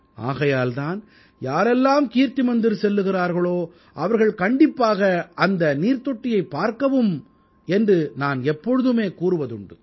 ஆகையால் தான் யாரெல்லாம் கீர்த்தி மந்திர் செல்கிறீர்களோ அவர்கள் கண்டிப்பாக அந்த நீர்த் தொட்டியைப் பார்க்கவும் என்று நான் எப்போதுமே கூறுவதுண்டு